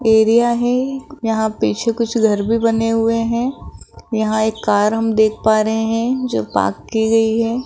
Area है यहां कुछ कुछ घर भी बने हुए हैं यहां एक कार देख पा रहे हैं जो पार्क की है।